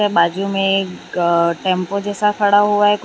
बाजू में एक अ टेम्पो जैसा खड़ा हुआ है कुछ--